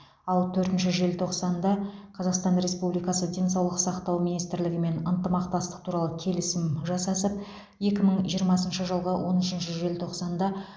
ал төртінші желтоқсанда қазақстан республикасы денсаулық сақтау министрлігімен ынтымақтастық туралы келісім жасасып екі мың жиырмасыншы жылғы он үшінші желтоқсанда